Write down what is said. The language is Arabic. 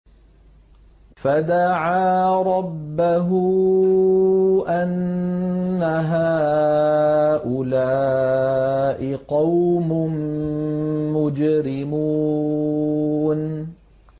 فَدَعَا رَبَّهُ أَنَّ هَٰؤُلَاءِ قَوْمٌ مُّجْرِمُونَ